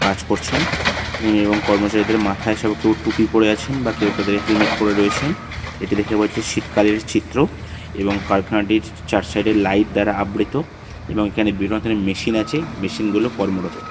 কাজ করছেন ইনি এবং কর্মচারীদের মাথায় সব কেউ টুপি পরে আছেন বা কেউ তাদের হেলমেট পড়ে রয়েছেন এটি দেখে বোঝা যাচ্ছে শীতকালের চিত্র এবং কারখানাটির চা-চার সাইডে লাইট দ্বারা আবৃত এবং এখানে বিভিন্ন ধরনের মেশিন আছে মেশিনগুলো কর্মরত।